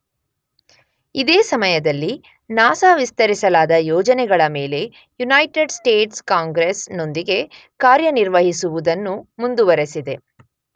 ಇದೇ ಸಮಯದಲ್ಲಿ ನಾಸ ವಿಸ್ತರಿಸಲಾದ ಯೋಜನೆಗಳ ಮೇಲೆ ಯುನೈಟೆಡ್ ಸ್ಟೇಟ್ಸ್ ಕಾಂಗ್ರೆಸ್ ನೊಂದಿಗೆ ಕಾರ್ಯನಿರ್ವಹಿಸುವುದನ್ನು ಮುಂದುವರೆಸಿದೆ.